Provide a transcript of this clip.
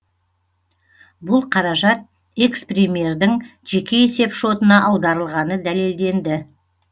бұл қаражат экс премьердің жеке есеп шотына аударылғаны дәлелденді